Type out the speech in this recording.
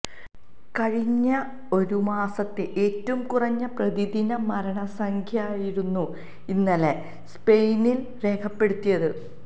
കഴിഞ്ഞ ഒരു മാസത്തെ ഏറ്റവും കുറഞ്ഞ പ്രതിദിന മരണസംഖ്യയായിരുന്നു ഇന്നലെ സ്പെയിനിൽ രേഖപ്പെടുത്തിയത്